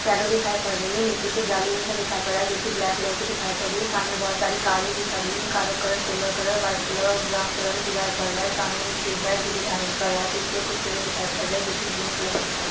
Shadow दिखाई पड़ रही है | नीचे कुछ जाली जैसा दिखाई पड़ रहा है जो कि ब्लैक कलर की दिखाई पड रही है | सामने बहुत सारी कारें भी खड़ी है | कारो का colour silver colour white colour और ब्राउन कलर मे दिखाई पड़ रहा है | सामने एक ट्यूबलाइट भी दिखाई पड़ रही है पीछे कुछ पेड़ भी दिखाई पड़ रहा है जो की ग्रीन कलर मे दिखाई पड़ रहे है।